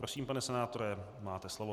Prosím, pane senátore, máte slovo.